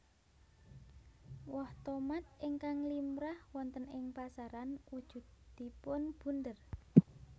Woh tomat ingkang limrah wonten ing pasaran wujudipun bunder